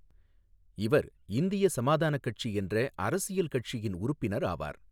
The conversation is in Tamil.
இவா் இந்திய சமாதான கட்சி என்ற அரசியல் கட்சியின் உறுப்பினா் ஆவாா்.